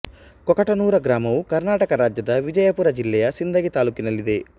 ಕೊಕಟನೂರ ಗ್ರಾಮವು ಕರ್ನಾಟಕ ರಾಜ್ಯದ ವಿಜಯಪುರ ಜಿಲ್ಲೆಯ ಸಿಂದಗಿ ತಾಲ್ಲೂಕಿನಲ್ಲಿದೆ